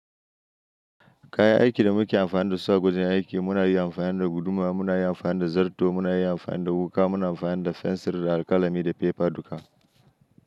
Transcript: Kayan aikin da muke amfani da suwa gwajin aiki muna yi amfani da guduma, muna yi amfani da zarto, muna yi amfani da wuƙa, muna amfani da fensir da alƙalami da fefa duka.